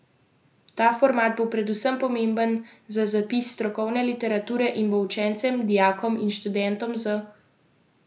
Ta format bo predvsem pomemben za zapis strokovne literature in bo učencem, dijakom in študentom z motnjami vida olajšal učenje in študij.